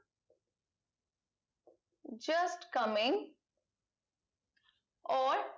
just coming or